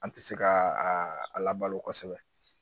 An tɛ se ka a labalo kosɛbɛ